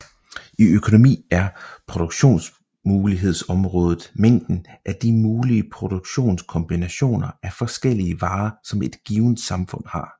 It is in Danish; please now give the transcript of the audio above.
I økonomi er produktionsmulighedsområdet mængden af de mulige produktionskombinationer af forskellige varer som et givet samfund har